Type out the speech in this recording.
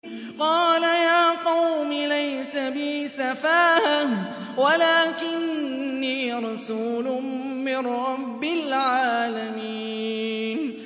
قَالَ يَا قَوْمِ لَيْسَ بِي سَفَاهَةٌ وَلَٰكِنِّي رَسُولٌ مِّن رَّبِّ الْعَالَمِينَ